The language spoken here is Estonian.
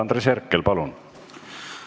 Andres Herkel, palun!